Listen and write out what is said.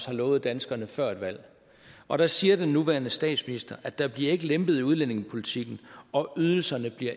har lovet danskerne før et valg og der siger den nuværende statsminister at der ikke bliver lempet i udlændingepolitikken og at ydelserne